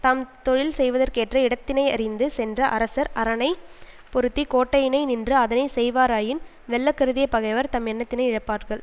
தாம் தொழில் செய்வதற்கேற்ற இடத்தினையறிந்து சென்ற அரசர் அரணைப் பொருத்தி கோட்டையினை நின்று அதனை செய்வாராயின் வெல்ல கருதிய பகைவர் தம் எண்ணத்தினை இழப்பார்கள்